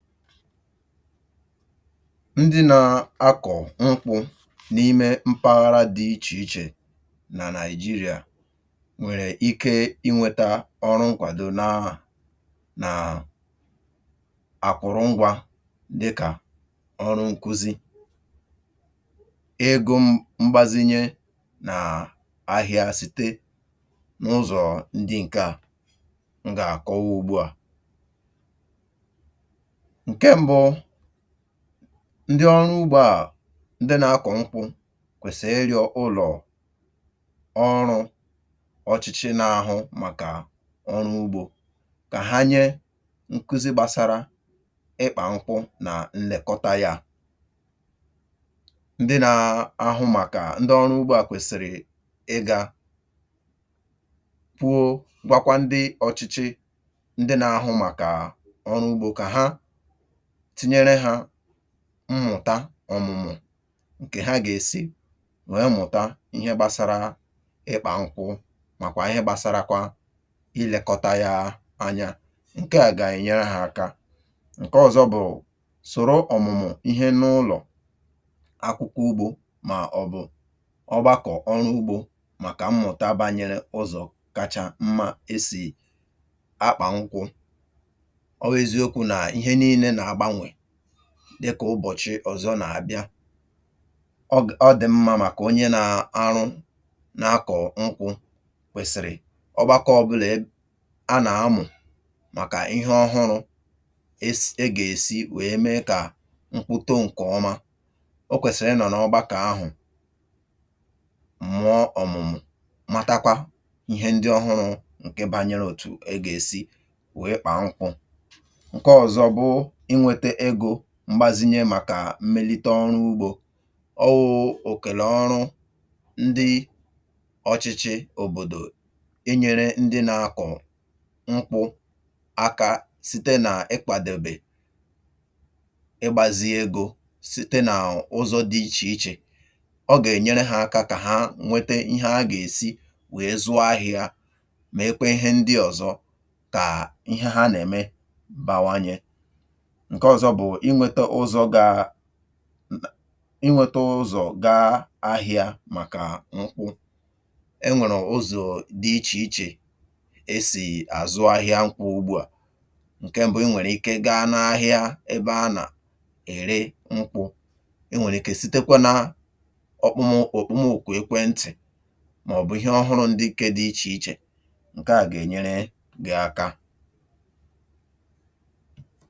Ndị na-akọ̀ nkwụ̇ n’ime mpaghara dị̇ ichè ichè nà Nigeria nwèrè ike inwėtȧ ọrụ nkwàdò na nà nàà àkụ̀rụngwȧ dị kà ọrụ nkụzi, egȯ mgbazinye nà ahị̇ȧ site n’ụzọ̀ ndị ǹke à m gà-àkọwa ugbu à. Nke mbụ, ndị ọrụ ugbȯ à, ndị na-akọ nkwụ kwèsị ịrịọ̇ ụlọ̀ ọrụ̇ ọchịchị n’ahụ màkà ọrụ ugbȯ kà ha nye nkụzi gbasara ịkpà nkwụ nà nlekọta yȧ. Ndị na-ahụ màkà ndị ọrụ ugbȯ à kwèsịrị ịgȧ kwuo gwakwa ndị ọchịchị ndị na-ahụ màkà ọrụ ugbȯ kà ha tinyere ha mmụ̀ta ọ̀mụ̀mụ̀ ǹkè ha gà-èsi wèe mụ̀ta ihe gbasara ịkpà nkwụ màkwà ihe gbasarakwa ilėkọta ya anya, ǹke à gà-ènyere ha aka. Nke ọ̀zọ bụ̀ soro ọ̀mụ̀mụ̀ ihe n’ụlọ̀ akwụkwọ ugbȯ màọ̀bụ̀ ọgbakọ̀ ọrụ ugbȯ màkà mmụ̀ta banyere ụzọ̀ kacha mma esì akpà nkwụ̇. Ọ wụ eziokwu n'ihe niile na-agbanwe dị kà ụbọ̀chị ọ̀zọ nà abịa. Ọ dị̀ mmȧ màkà onye na arụ n’akọ̀ nkwụ̇ kwèsịrị ọgbakọ ọ̀bụlà a nà amụ̀ màkà ihe ọhụrụ̇ e si e gà-èsi wèe mee kà nkwụ too ǹkè ọma, o kwèsịrị ịnọ̀ n’ọgbakọ ahụ̀, mụọ ọ̀mụ̀mụ̀ mata kwa ihe ndị ọhụrụ ǹke banyere òtù egȧèsi wèe kpà nkwụ. Nke ọzọ bụ inwete ego m̀gbazinye màkà m̀melite ọrụ ugbȯ. Ọ wụ òkèla ọrụ ndị ọchịchị òbòdò inyere ndị na-akọ̀ nkwụ akȧ site nà ịkpàdèbè ịgbȧzi egȯ site nà ụzọ̇ dị ichè ichè. Ọ gà-ènyere hȧ aka kà ha nwete ihe a gà-èsi wee zụọ ahịȧ mèekwe ihe ndị ọ̀zọ kà ihe ha nà-ème bawanyė. Nke ọzọ bụ̀ inwėtȧ ụzọ̇ gaa inweta ụzọ gaa ahịa màkà nkwụ. E nwèrè ụzọ̀ dị ichè ichè e sì àzụ ahịa nkwụ ugbu à. Nke mbụ, i nwèrè ike gaa n’ahịa ebe a nà-ère nkwụ, i nwèrè ike sitekwa na ọkpụmụ ọkpụmụ ọkpọmụokwu̇ ekwentị̀ màọ̀bụ̀ ihe ọhụrụ ndị nke dị ichè ichè, ǹke à gà-ènyere gị̀ aka.